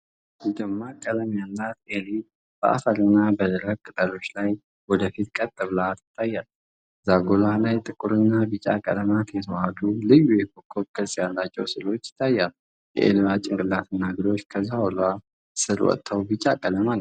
ደማቅ ቀለም ያላት ኤሊ በአፈር እና በደረቁ ቅጠሎች ላይ ወደፊት ቀጥ ብላ ትታያለች። ዛጎሏ ላይ ጥቁርና ቢጫ ቀለማት የተዋሀዱ ልዩ የኮከብ ቅርጽ ያላቸው ስዕሎች ይታያሉ። የኤሊዋ ጭንቅላትና እግሮች ከዛጎሏ ስር ወጥተው ቢጫ ቀለም አላቸው።